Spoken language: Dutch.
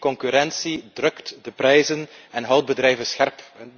Concurrentie drukt de prijzen en houdt bedrijven scherp.